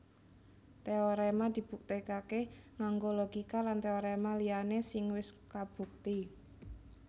Téoréma dibuktèkaké nganggo logika lan téoréma liyané sing wis kabukti